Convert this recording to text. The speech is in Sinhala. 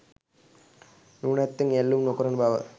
නුවණැත්තන් ඇලුම් නොකරන බව